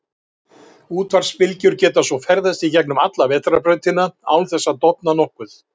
Útvarpsbylgjur geta svo ferðast í gegnum alla Vetrarbrautina án þessa að dofna nokkuð.